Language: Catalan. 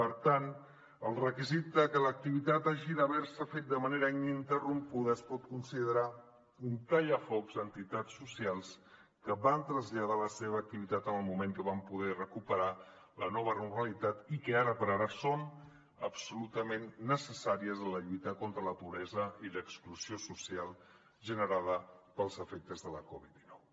per tant el requisit de que l’activitat hagi d’haver se fet de manera ininterrompuda es pot considerar un tallafocs a entitats socials que van traslladar la seva activitat en el moment que van poder recuperar la nova normalitat i que ara per ara són absolutament necessàries en la lluita contra la pobresa i l’exclusió social generada pels efectes de la covid dinou